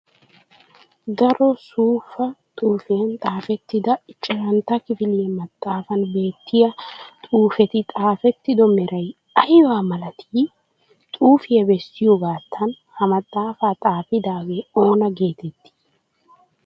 Daro suufa xuufiyan xaafettidda ichchashshantta kifiliya maxaafan beetiyaa xuufeti xaafettido meray ayba milatii? Xuufe besiyoogattan ha maxaafaa xaafiddagee oona geetettii?